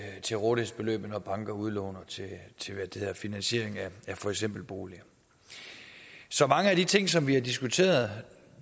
til rådighedsbeløbet når banker udlåner til finansiering af for eksempel boliger så mange af de ting som vi har diskuteret